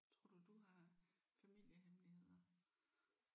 Tror du du har familiehemmeligheder?